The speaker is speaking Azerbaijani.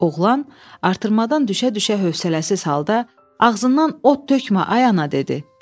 Oğlan artırmadan düşə-düşə hövsələsiz halda ağzından od tökmə ay ana dedi.